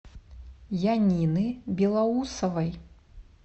янины белоусовой